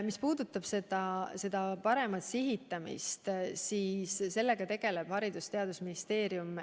Mis puudutab paremat sihitamist, siis sellega tegeleb Haridus- ja Teadusministeerium.